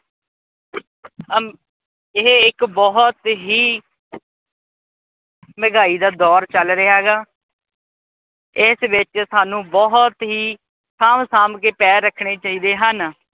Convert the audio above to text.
ਇਹ ਇੱਕ ਬਹੁਤ ਹੀ ਮਹਿਗਾਈ ਦਾ ਦੌਰ ਚੱਲ ਰਿਹਾਗਾ। ਇਸ ਵਿਚ ਸਾਨੂੰ ਬਹੁਤ ਹੀ ਸਾਂਭ-ਸਾਂਭ ਕੇ ਪੈਰ ਰੱਖਣੇ ਚਾਹੀਦੇ ਹਨ।